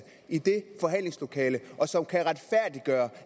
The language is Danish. i det forhandlingslokale og som kan retfærdiggøre